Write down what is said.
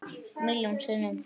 Milljón sinnum.